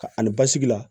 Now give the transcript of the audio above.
Ka ani basigi la